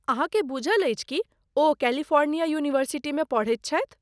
अहाँकेँ बूझल अछि कि ओ कैलिफोर्निया यूनिवर्सिटीमे पढ़ैत छथि।